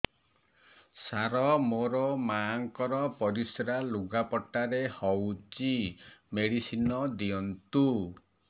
ସାର ମୋର ମାଆଙ୍କର ପରିସ୍ରା ଲୁଗାପଟା ରେ ହଉଚି ମେଡିସିନ ଦିଅନ୍ତୁ